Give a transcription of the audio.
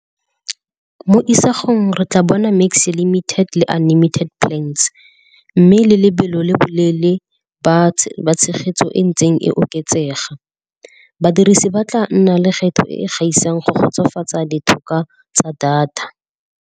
Mo isagong re tla bona mix limited le unlimited plans, mme le lebelo le boleele ba tshegetso e ntseng e oketsega. Badirisi ba tla nna le kgetho e e gaisang go kgotsofatsa ditlhokwa tsa data.